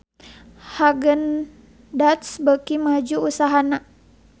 Haagen Daazs beuki maju usahana